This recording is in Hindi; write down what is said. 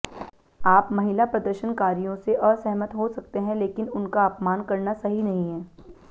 आप महिला प्रदर्शनकारियों से असहमत हो सकते हैं लेकिन उनका अपमान करना सही नहीं है